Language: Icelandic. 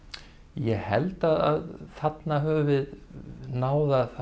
ég held að þarna höfum við náð að